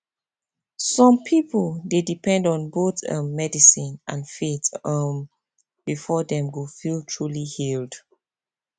some people dey depend on both um medicine and faith um before dem go feel truly healed